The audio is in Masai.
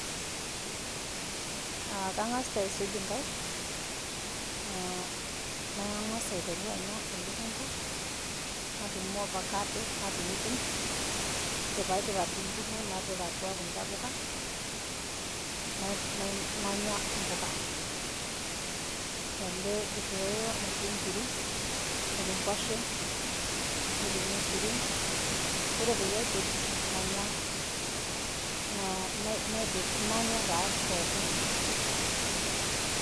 kangas taa aisuj inkaik, nangas aiteru anya elukunku, nadumu ovacado nadung'idung'.ore pee aidip atudung'i ung'o napik kuda puka, nanya mpukaele kitoeo otii nkiri, netii nkwashen, netii irmaisurin, ore eyie aidip, nanya taa pookin.